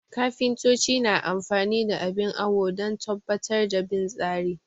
Kafintoci na amfani da abin awo don tabbatar da bin tsari